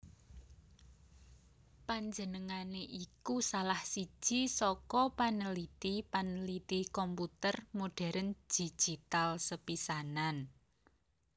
Panjenengané iku salah siji saka panliti panliti komputer modhèrn digital sepisanan